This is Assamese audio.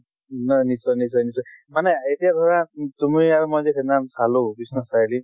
উম নাই নিশ্চয় নিশ্চয় নিশ্চয় । মানে এতিয়া ধৰা উম তুমি আৰু মই যে সেই দিনাখন চালো বিশ্বনাথ চাৰিআলি